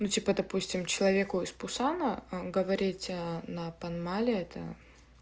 ну типа допустим человеку из пусана а говорить на поймали это